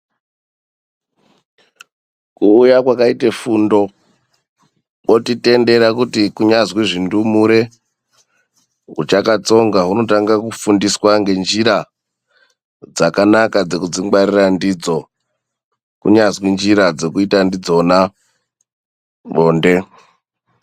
Kuuya kwakaita fundo kotitendera kuti kunyazwi hundumure huchakatsonga hunotanga kufundiswa zvinofundiswa ,ngenjira dzakanaka dzekudzingwarira ndidzo kunyazwi njira dzekuita ndidzona bonde.